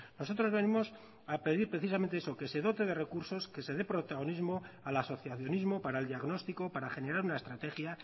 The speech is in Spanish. nosotros venimos a pedir precisamente eso que se dote de recursos que se dé protagonismo al asociacionismo para el diagnóstico para generar una estrategia